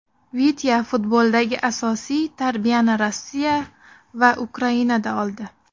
Vitya futboldagi asosiy tarbiyani Rossiya va Ukrainada oldi.